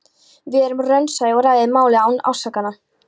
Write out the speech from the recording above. Verið raunsæ og ræðið málið án ásakana.